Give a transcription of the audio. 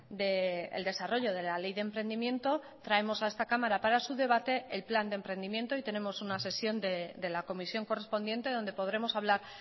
del desarrollo de la ley de emprendimiento traemos a esta cámara para su debate el plan de emprendimiento y tenemos una sesión de la comisión correspondiente donde podremos hablar